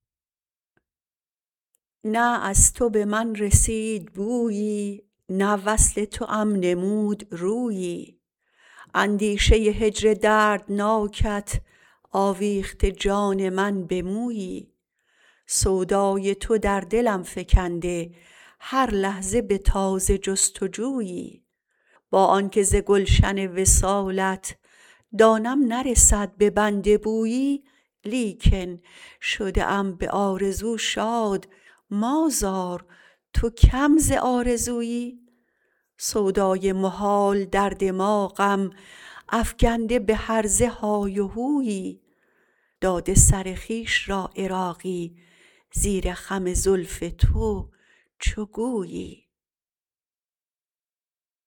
نه از تو به من رسید بویی نه وصل توام نمود رویی اندیشه هجر دردناکت آویخته جان من به مویی سودای تو در دلم فکنده هر لحظه به تازه جست و جویی با آنکه ز گلشن وصالت دانم نرسد به بنده بویی لیکن شده ام به آرزو شاد مآزار تو کم ز آرزویی سودای محال در دماغم افگنده به هرزه های و هویی داده سر خویش را عراقی زیر خم زلف تو چو گویی